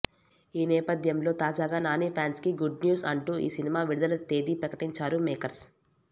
ఈ నేపథ్యంలో తాజాగా నాని ఫ్యాన్స్కి గుడ్ న్యూస్ అంటూ ఈ సినిమా విడుదల తేదీ ప్రకటించారు మేకర్స్